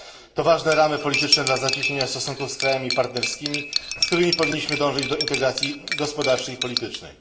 To ważne ramy polityczne dla zacieśnienia stosunków z krajami partnerskimi, z którymi powinniśmy dążyć do integracji gospodarczej i politycznej.